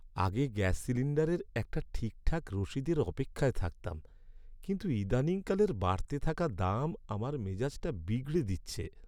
আগে গ্যাস সিলিণ্ডারের একটা ঠিকঠাক রসিদের অপেক্ষায় থাকতাম, কিন্তু ইদানিং কালের বাড়তে থাকা দাম আমার মেজাজটা বিগড়ে দিচ্ছে।